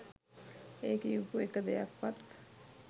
ඒ කියපු එක දෙයක්වත්